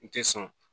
U tɛ sɔn